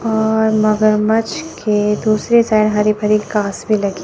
और मगरमच्छ के दूसरे साइड हरी भरी घास भी लगी--